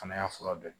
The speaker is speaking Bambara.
Fana y'a fura dɔ ye